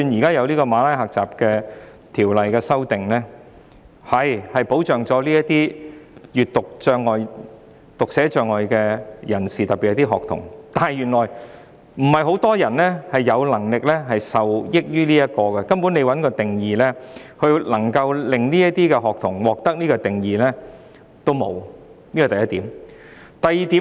根據《馬拉喀什條約》作出的修訂，的確能夠保障閱讀障礙或讀寫障礙的人士，特別是學童，但原來不是很多人能夠受惠於這些條文，因為這些學童根本連獲評定的機會也沒有，這是第一點。